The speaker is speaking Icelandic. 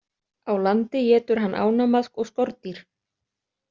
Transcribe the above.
Á landi étur hann ánamaðk og skordýr.